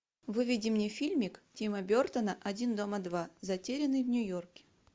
выведи мне фильмик тима бертона один дома два затерянный в нью йорке